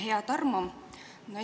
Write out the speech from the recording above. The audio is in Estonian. Hea Tarmo!